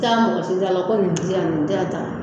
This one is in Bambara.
Taa mɔgɔ tigiya la ko nin di yan, nin di yan ta.